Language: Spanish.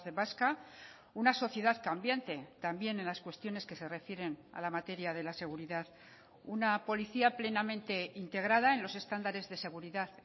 vasca una sociedad cambiante también en las cuestiones que se refieren a la materia de la seguridad una policía plenamente integrada en los estándares de seguridad